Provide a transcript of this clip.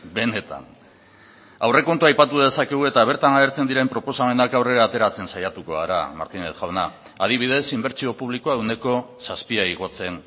benetan aurrekontua aipatu dezakegu eta bertan agertzen diren proposamenak aurrera ateratzen saiatuko gara martínez jauna adibidez inbertsio publikoa ehuneko zazpia igotzen